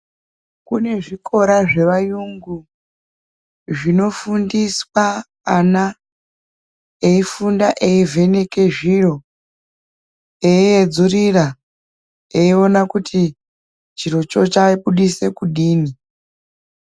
Kune zvikora zvevayungu zvinofundiswa ana eifunda eivheneke zviro eiedzurira eiona kuti chirocho chabudisa kudini.